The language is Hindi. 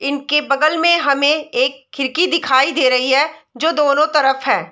इनके बगल में हमे एक खिड़की दिखाई दे रही है जो दोनों तरफ हैं।